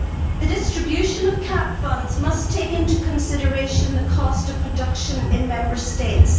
The distribution of CAP funds must take into consideration the cost of production in Member States.